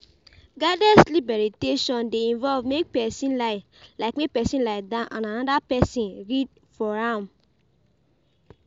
Guided sleep meditation de involve make persin lie persin lie down and another persin read for am